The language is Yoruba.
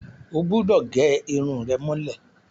O gbúdọ̀ gẹ irun rẹ mọ́lẹ̀!